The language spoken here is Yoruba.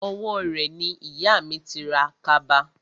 Owó rẹ̀ ni ìyà mi ti ra kaba